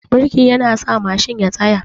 Birki yana sa Mashin ya tsaya